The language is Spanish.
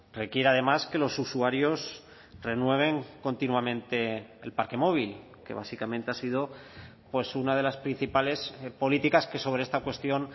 requiere además que los usuarios renueven continuamente el parque móvil que básicamente ha sido pues una de las principales políticas que sobre esta cuestión